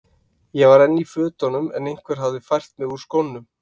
Ég var enn í fötunum en einhver hafði fært mig úr skónum.